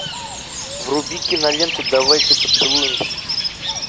вруби киноленту давайте поцелуемся